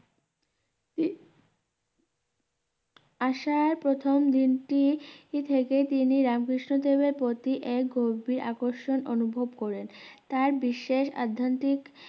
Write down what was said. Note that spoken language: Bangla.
আসার প্রথম দিনটি থেকে তিনি রামকৃষ্ণদেবের প্রতি এক গভীর আকর্ষণ অনুভব করেলেন তার বিশেষ অধ্যান্তিক